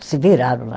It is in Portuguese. Se viraram lá.